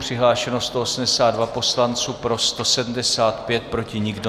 Přihlášeni 182 poslanci, pro 175, proti nikdo.